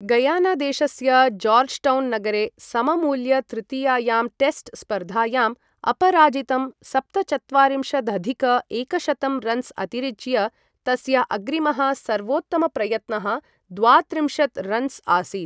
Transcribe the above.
गयानादेशस्य Georgetown नगरे सममूल्य तृतीयायां टेस्ट् स्पर्धायां अपराजितं सप्तचत्वारिंशदधिक एकशतं रन्स् अतिरिच्य, तस्य अग्रिमः सर्वोत्तमप्रयत्नः द्वात्रिंशत् रन्स् आसीत्।